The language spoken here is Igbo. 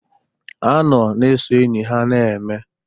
Ha nọ na ezọ enyi ha na-eme.